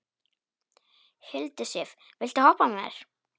Hildisif, viltu hoppa með mér?